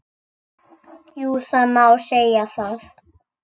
Jú það má segja það.